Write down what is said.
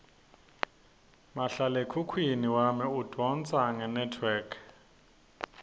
mahlalekhukhwini wami udvonsa ngenetwork